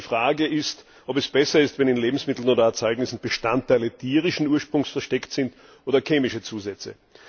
Die Frage ist, ob es besser ist, wenn in Lebensmitteln oder Erzeugnissen Bestandteile tierischen Ursprungs versteckt sind oder chemische Zusätze.